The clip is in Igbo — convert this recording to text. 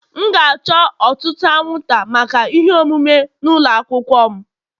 M ga-achọ ọtụtụ anwụnta maka ihe omume n'ụlọ akwụkwọ m